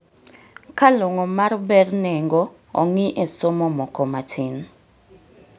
Ka long'o mar ber nengo ong'ii e somo moko matin